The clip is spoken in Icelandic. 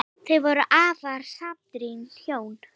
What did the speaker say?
Þau voru afar samrýnd hjón.